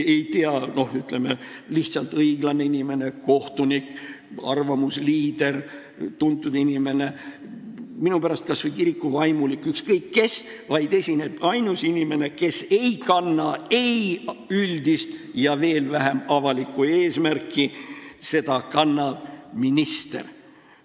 – mitte keegi, noh ütleme, lihtsalt õiglane inimene, kohtunik, arvamusliider, tuntud inimene, minu pärast kas või kirikuvaimulik, ükskõik kes, vaid seda esindab ainus inimene, kes ei kanna ei üldisi ega veel vähem avalikke huve: seda esindab minister.